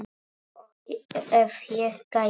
Og ef ég gæti.?